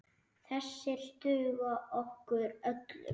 Þessir duga okkur öllum.